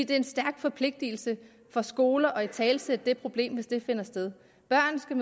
det er en stærk forpligtelse for skoler at italesætte det problem hvis det finder sted børn skal